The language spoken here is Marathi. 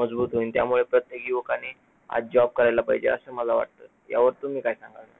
मजबूत होईल त्यामुळे प्रत्येक युवकाने आज job करायला पाहिजे असं मला वाटतं, यावर तुम्ही काय सांगाल?